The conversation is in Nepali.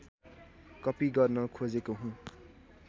कपी गर्न खोजेको हुँ